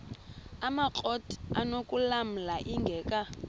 amakrot anokulamla ingeka